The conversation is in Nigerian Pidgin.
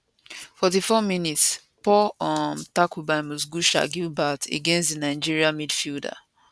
44minspoor um tackle bymugisha gilbert against di nigeria midfielder